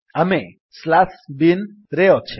ଆମେ binନ୍ୟାରେସନ୍ - slash bin ରେ ଅଛେ